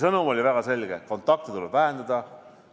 Sõnum oli väga selge: kontakte tuleb vähendada.